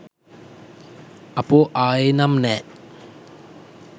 අපෝ ආයේ නම් නෑ